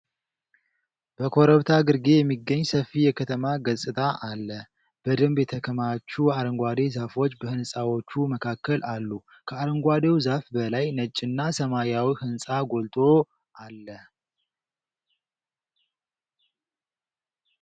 በኮረብታ ግርጌ የሚገኝ ሰፊ የከተማ ገጽታ አለ። በደንብ የተከማቹ አረንጓዴ ዛፎች በህንፃዎቹ መካከል አሉ። ከአረንጓዴው ዛፍ በላይ ነጭና ሰማያዊ ሕንፃ ጎልቶ አለ።